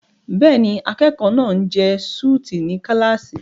Bẹ́ẹ̀ni, akẹ́kọ̀ọ́ náà ń jẹ súùtì ní kíláàsì.